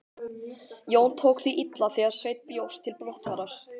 Jón tók því illa þegar Sveinn bjóst til brottfarar.